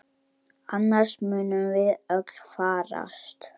Annars munum við öll farast!